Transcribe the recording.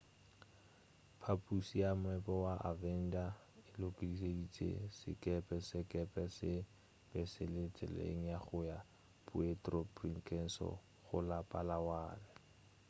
phaphuši ya moepo wa avenger e lekodišišitše sekepe sekepe se be se le tseleng ya go ya puerto princesa go la palawan